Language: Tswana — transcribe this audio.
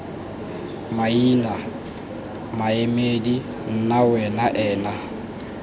maina maemedi nna wena ena